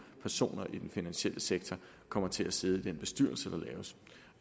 personer i den finansielle sektor kommer til at sidde i den bestyrelse der laves